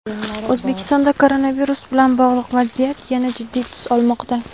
O‘zbekistonda koronavirus bilan bog‘liq vaziyat yana jiddiy tus olmoqda.